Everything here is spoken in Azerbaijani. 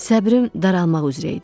Səbrim daralmaq üzrə idi.